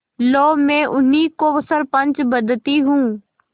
लो मैं उन्हीं को सरपंच बदती हूँ